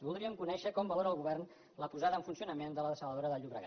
voldríem conèixer com valora el govern la posada en funcionament de la dessaladora del llobregat